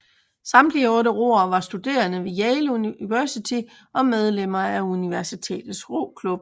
Samtlige otte roere var studerende ved Yale University og medlemmer af universitets roklub